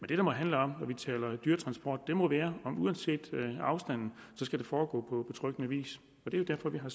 det må handle om når vi taler om dyretransport må være at uanset afstanden skal det foregå på betryggende vis det er derfor vi har